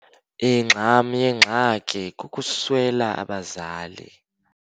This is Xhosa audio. Ingxam yengxaki kukuswela abazali.